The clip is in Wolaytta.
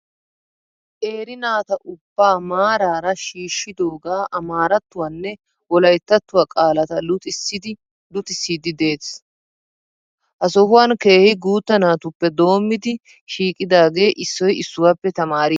Qeeri naata ubbaa maraara shiishidoogaa amaarattuwaanne wolayittatuwa qaalata luxissiddi desi. Ha sohan keehi guutta natuppe doommidi shiiqidaage issoyi issuwaappe tamaariiddi des.